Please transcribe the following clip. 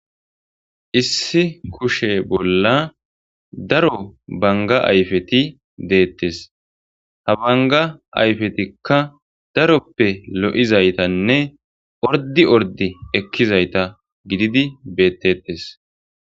issi kushe bolla daro banga ayfeti deettes ha banga ayfetikka daroppe lo7izaytanne ordi ordi ekkizayta gididi beettettes